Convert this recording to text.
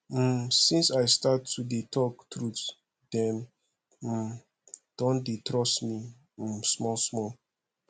um since i start to dey tok truth dem um don dey trust me um smallsmall